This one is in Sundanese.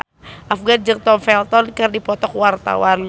Afgan jeung Tom Felton keur dipoto ku wartawan